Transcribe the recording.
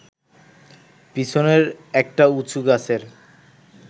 পিছনের একটা উঁচু গাছের